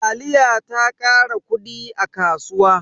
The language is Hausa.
Taliya ta kara kudi a kasuwa.